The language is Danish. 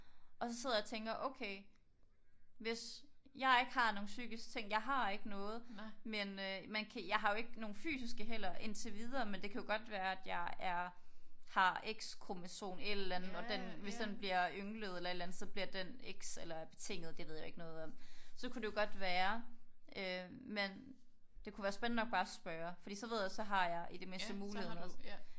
Og så sidder jeg og tænker okay hvis jeg ikke har nogen psykiske ting. Jeg har ikke noget men man kan. Jeg har jo ikke nogen fysiske heller indtil videre men det kan jo godt være at jeg er har x kromosom et eller andet og den hvis den bliver ynglet eller et eller andet så bliver den x eller betinget. Det ved jeg jo ikke noget om. Så kunne det jo godt være men det kunne være spændende nok bare at spørge fordi så ved jeg så har jeg i det mindste muligheden